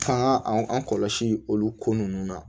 F'an ga an kɔlɔsi olu ko nunnu na